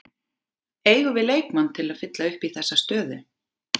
Eigum við leikmann til að fylla upp í þessa stöðu?